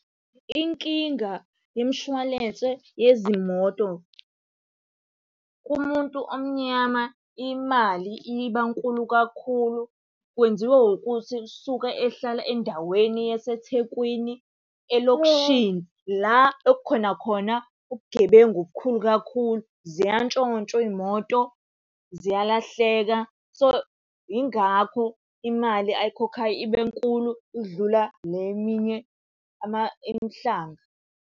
Inkinga yemishwalense yezimoto kumuntu omnyama imali iba nkulu kakhulu. Kwenziwa ukuthi usuke ehlala endaweni yaseThekwini elokishini, la okukhona khona ubugebengu obukhulu kakhulu, ziyantshontshwa iy'moto, ziyalahleka. So, yingakho imali ayikhokhayo Ibe nkulu ukudlula le eminye eMhlanga.